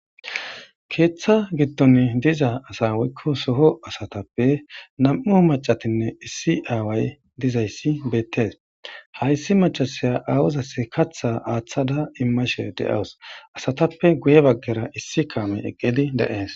Keeththa giddoni diza asaa woykko soho asathappe nam7u macathinne issi aaway dizayssi beeththes; hayssi maccasiya aawazassi kaththaa aaththada immashe de7awus; asathappe guye baggera issi kaamoy eqqidi de7ees.